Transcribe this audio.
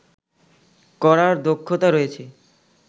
করার দক্ষতা রয়েছে